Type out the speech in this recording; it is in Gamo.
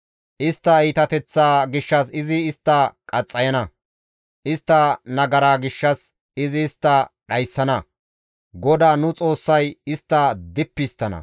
Istta iitateththaa gishshas izi istta qaxxayana; istta nagara gishshas izi istta dhayssana; GODAA nu Xoossay istta dippi histtana.